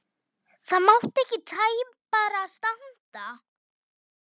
Það mátti ekki tæpara standa.